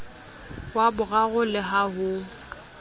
wa boraro le ha ho